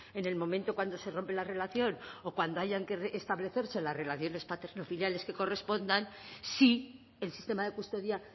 en el momento cuando se rompe la relación o cuando hayan que establecerse las relaciones paternofiliales que correspondan si el sistema de custodia